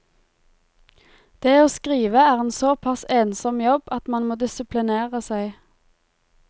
Det å skrive er en såpass ensom jobb at man må disiplinere seg.